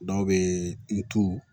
Dɔw bɛ ntu